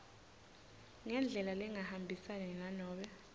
ngendlela lengahambisani nanobe